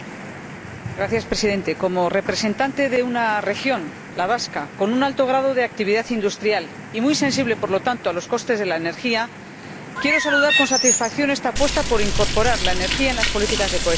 Señor Presidente, como representante de una región, la vasca, con un alto grado de actividad industrial y muy sensible, por lo tanto, a los costes de la energía, quiero saludar con satisfacción esta apuesta por incorporar la energía en las políticas de cohesión.